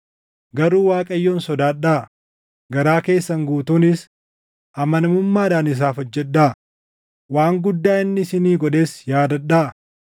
Garuu Waaqayyoon sodaadhaa; garaa keessan guutuunis amanamuudhaan isaaf hojjedhaa; waan guddaa inni isinii godhes yaadadhaa.